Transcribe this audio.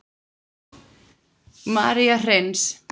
María Hreins.